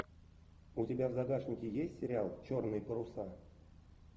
у тебя в загашнике есть сериал черные паруса